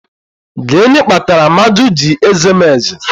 Gịnị kpatara Amaju ji eze m eze?